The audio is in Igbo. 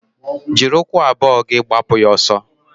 Jiri ụkwụ abụọ gị gbapụ ya ọsọ!